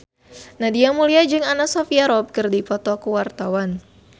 Nadia Mulya jeung Anna Sophia Robb keur dipoto ku wartawan